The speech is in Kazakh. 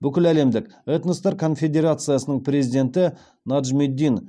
бүкіләлемдік этноспорт конфедерациясының президенті неджмеддин